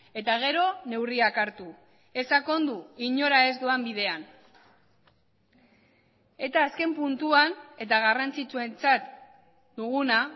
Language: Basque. eta gero neurriak hartu ez sakondu inora ez doan bidean eta azken puntuan eta garrantzitsuentzat duguna